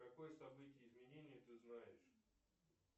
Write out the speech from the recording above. какое событие изменения ты знаешь